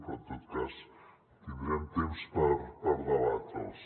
però en tot cas tindrem temps per debatre’ls